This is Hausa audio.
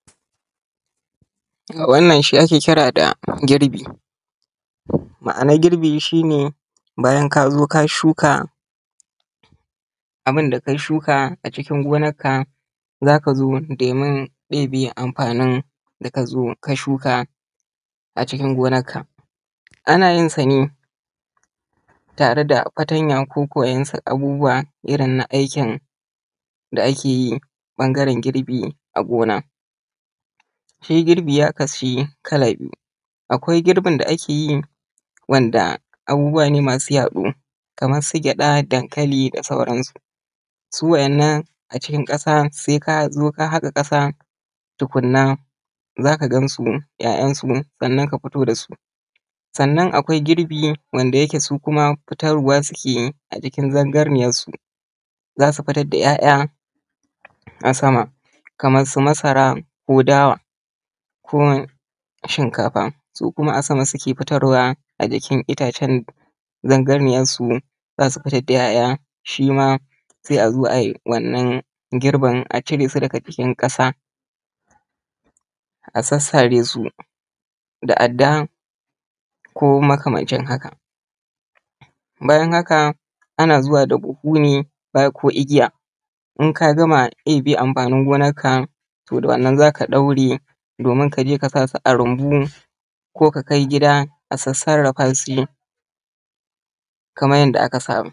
Wannan shi ake kira da girbi. Ma'anan girbi shi ne bayan ka zo ka shuka, abun da ka shuka a cikin gonarka za ka zo domin ɗebe amfanin da ka zo ka shuka a cikin gonarka. Ana yin sa ne tare da fatanya ko waɗansu abubuwa irin na aikin da ake yi ɓangaren girbi a gona. Shi girbi ya kasu kala biyu. Akwai girbin da ake yi wanda abubuwa ne masu yaɗo kamar su gyada, dankali da sauran su. Su wa'innan a cikin ƙasa, sai ka zo ka haƙa ƙasa tukunna za ka gansu, 'ya'yansu sannan ka fito da su. Sannan akwai girbi da wanda yake su kuma fitarwa su ke yi a jikin zanganiyarsu, za su fitar da ‘ya'ya a sama kaman su masara, ko dawa, ko shinkafa, su kuma a sama suke fitarwa a jikin itacen zanganiyarsu, za su fitar da 'ya'ya. Shi ma sai a zo ai wannan girbin a cire su daga jikin ƙasa, a sassare su da adda ko makamancin haka. Bayan haka ana zuwa da buhu ne, ko igiya in ka gama ɗebe amfanin gonar ka, to da wannan za ka ɗaure domin ka je kasa su a rumbu, ko ka kai gida a sassarafa shi kaman yanda aka saba.